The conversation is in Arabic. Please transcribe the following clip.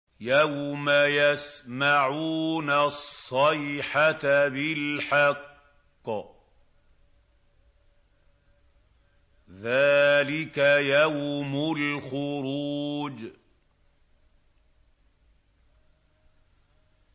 يَوْمَ يَسْمَعُونَ الصَّيْحَةَ بِالْحَقِّ ۚ ذَٰلِكَ يَوْمُ الْخُرُوجِ